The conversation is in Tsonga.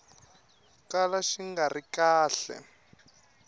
kala xi nga ri kahle